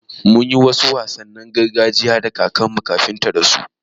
Mun yi wasu wasannin gargajiya da kakarmu kafin ta rasu.